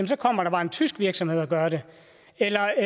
så kommer der bare en tysk virksomhed og gør det eller